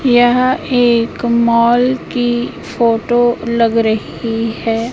यह एक मॉल की फोटो लग रही है।